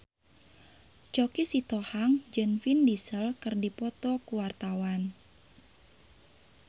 Choky Sitohang jeung Vin Diesel keur dipoto ku wartawan